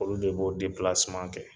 Olu de b'o kɛ.